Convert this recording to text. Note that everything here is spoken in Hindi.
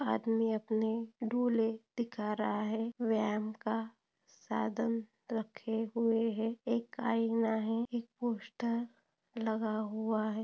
आदमी अपने डोले दिखा रहा है व्यायाम का साधन रखे हुए है एक आईना है। एक पोस्टर लगा हुआ है।